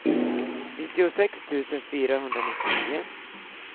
nittiosex tusen fyrahundranittionio